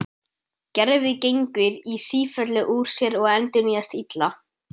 Gervið gengur í sífellu úr sér og endurnýjast illa.